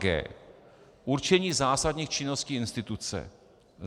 g) určení zásadních činností instituce,